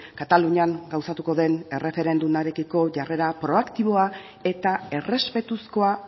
katalunian gauzatuko den erreferendumarekiko jarrera proaktiboa eta errespetuzkoa